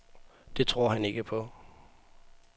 Det tror han ikke på.